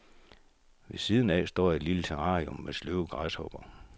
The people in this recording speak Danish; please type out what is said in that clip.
Ved siden af står et lille terrarium med sløve græshopper.